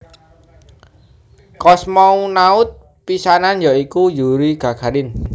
Kosmonaut pisanan ya iku Yuri Gagarin